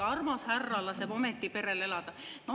Armas härra laseb ometi perel elada!